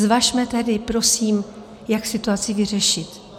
Zvažme tedy prosím, jak situaci vyřešit.